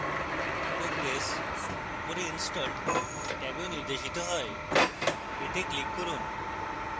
progress উপরের installed ট্যাবেও নির্দেশিত হয় এতে ক্লিক করুন